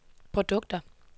produkter